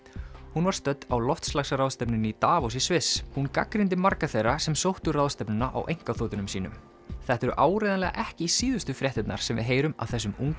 hún var stödd á loftslagsráðstefnu í Davos í Sviss hún gagnrýndi marga þeirra sem sóttu ráðstefnuna á einkaþotunum sínum þetta eru áreiðanlega ekki síðustu fréttirnar sem við heyrum af þessum unga